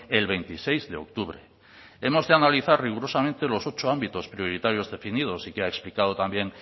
el veintiséis de octubre hemos de analizar rigurosamente los ocho ámbitos prioritarios definidos y que ha explicado también